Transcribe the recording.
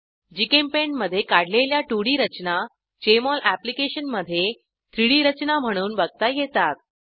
GChemPaint मधे काढलेल्या 2Dरचना जेएमओल एप्लिकेशन मधे 3डी रचना म्हणून बघता येतात